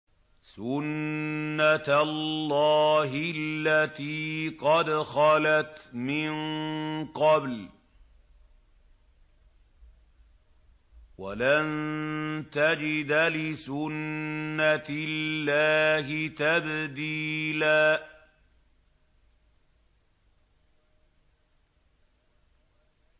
سُنَّةَ اللَّهِ الَّتِي قَدْ خَلَتْ مِن قَبْلُ ۖ وَلَن تَجِدَ لِسُنَّةِ اللَّهِ تَبْدِيلًا